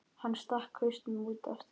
Hann stakk hausnum út aftur.